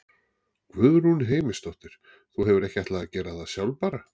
Guðrún Heimisdóttir: Þú hefur ekki ætlað að gera það sjálf bara?